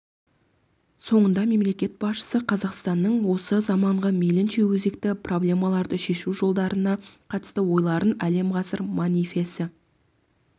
соңында мемлекет басшысы қазақстанның осы заманғы мейлінше өзекті проблемаларды шешу жолдарына қатысты ойларын әлем ғасыр манифесі